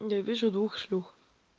я вижу двух шлюх